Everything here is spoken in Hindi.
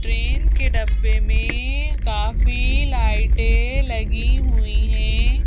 ट्रेन के डब्बे में काफी लाइटें लगी हुई हैं।